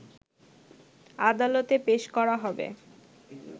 আদালতে পেশ করা হবে